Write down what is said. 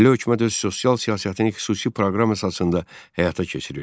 Milli hökumət öz sosial siyasətini xüsusi proqram əsasında həyata keçirirdi.